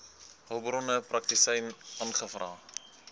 hulpbronne praktisyn aangevra